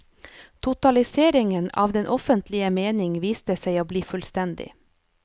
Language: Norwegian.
Totaliseringen av den offentlige mening viste seg å bli fullstendig.